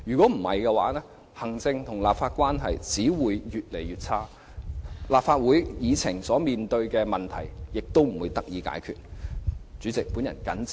否則，行政、立法關係只會更形惡化，立法會議程面對的問題也不會得到解決。